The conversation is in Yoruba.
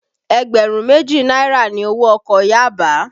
Ẹgbẹ̀rún méjì náírà ni owó ọkọ̀ Yaba